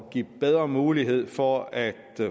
give bedre mulighed for at